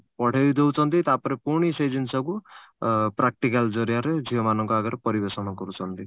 ପଢେଇଦଉଛନ୍ତି ତାପରେ ପୁଣି ସେ ଜିନିଷକୁ ଅ practical ଜରିଆରେ ଝିଅ ମାନଙ୍କ ଆଗରେ ପରିବେଷଣ କରୁଛନ୍ତି